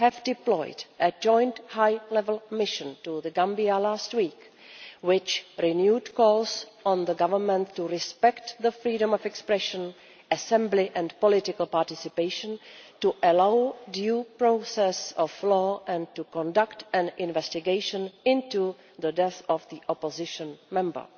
deployed a joint high-level mission to Gambia last week, which renewed calls on the Government to respect freedom of expression, assembly and political participation, to allow due process of law and to conduct an investigation into the death of the Opposition member.